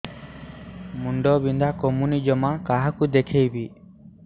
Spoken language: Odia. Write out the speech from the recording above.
ମୁଣ୍ଡ ବିନ୍ଧା କମୁନି ଜମା କାହାକୁ ଦେଖେଇବି